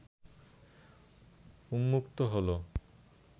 উন্মুক্ত হলো